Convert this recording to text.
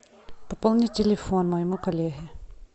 пополни телефон моему коллеге